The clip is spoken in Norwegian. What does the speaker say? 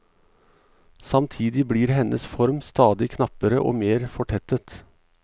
Samtidig blir hennes form stadig knappere og mer fortettet.